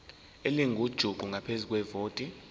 elingujuqu ngaphezu kwevoti